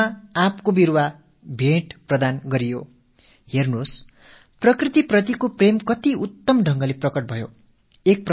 பாருங்கள் இயற்கை மீது தான் கொண்ட நேசத்தை என்னவொரு அருமையான வழியில் வெளிப்படுத்தி இருக்கிறார்